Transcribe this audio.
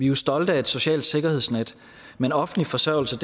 jo stolte af et socialt sikkerhedsnet men offentlig forsørgelse